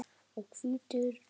og hvítur vinnur.